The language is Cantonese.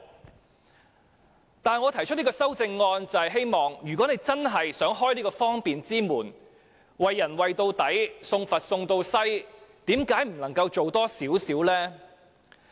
然而，我提出這項修正案，就是希望政府如果真的想打開方便之門，便應該"為人為到底，送佛送到西"，為何不可以再多做一些呢？